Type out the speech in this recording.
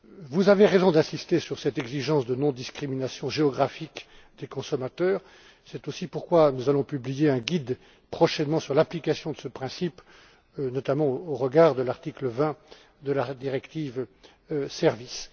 Vous avez raison d'insister sur cette exigence de non discrimination géographique des consommateurs. C'est aussi pourquoi nous allons publier prochainement un guide sur l'application de ce principe, notamment au regard de l'article 20 de la directive sur les services.